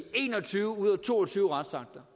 en og tyve ud af to og tyve retsakter